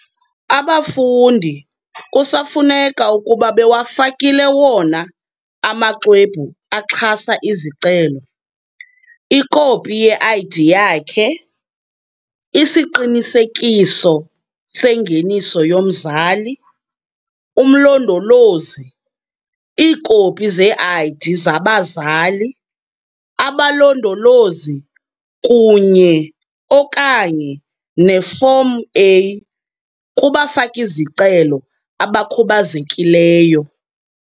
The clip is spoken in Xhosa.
Abafundi kusafuneka ukuba bewafakile wona amaxwebhu axhasa izicelo, ikopi ye-ID yakhe, isiqinisekiso sengeniso yomzali - umlondolozi, iikopi ze-ID zabazali - abalondolozi, kunye okanye nefomu-A kubafaki-zicelo abakhubazekileyo.